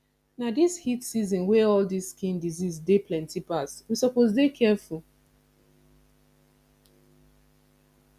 na this heat season wey all dis skin disease dey plenty pass we suppose dey careful